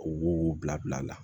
O wo bila bila la